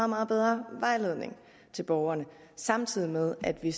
meget bedre vejledning til borgerne samtidig med at vi